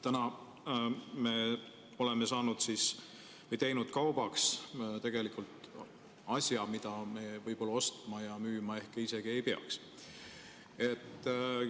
Täna me oleme teinud kaubaks tegelikult asja, mida me võib-olla ostma ja müüma isegi ei peaks.